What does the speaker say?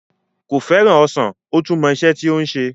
Kò fẹ́ràn ọsàn kódà ó tún mọ isẹ́ tí ó ń se